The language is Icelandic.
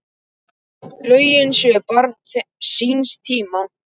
Lögin séu barn síns tíma.